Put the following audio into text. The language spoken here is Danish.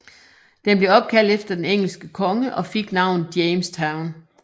Den blev opkaldt efter den engelske konge og fik navnet Jamestown